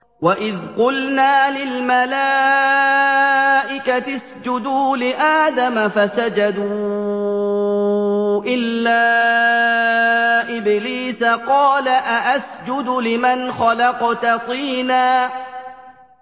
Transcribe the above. وَإِذْ قُلْنَا لِلْمَلَائِكَةِ اسْجُدُوا لِآدَمَ فَسَجَدُوا إِلَّا إِبْلِيسَ قَالَ أَأَسْجُدُ لِمَنْ خَلَقْتَ طِينًا